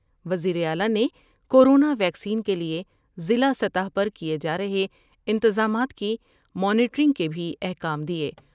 وزیراعلی نے corona vaccine کے لئے ضلع سطح پر کئے جار ہے انتظامات کی مانیٹرنگ کے بھی احکام دیئے ۔